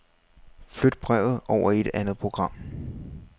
Flyt brevet over i et andet program.